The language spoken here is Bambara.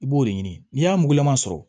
I b'o de ɲini n'i y'a mugulaman sɔrɔ